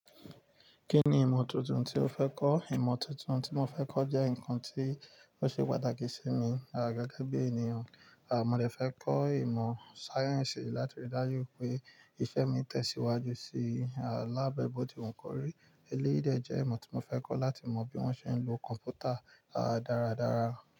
Kí ni ìmọ̀ tuntun tí o fẹ́ kọ́? Ìmọ̀ tuntun tí mo fẹ́ kọ́ jẹ́ nǹkan tí ó ṣe pàtàkì sí mi gẹ́gẹ́ bí ènìyàn. Mo de fẹ́ kọ́ ìmọ̀ science láti rí dájú wipé iṣẹ́ mi tẹ̀síwájú sí i. Lábẹ́ bótì wu kọ́rí, eléyìí de jẹ́ ìmọ̀ tí mo fẹ́ kọ́ láti mọ bí wọ́n ṣe ń lo kọ̀mpútà dáradára.